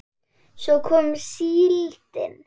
Svo kom síldin.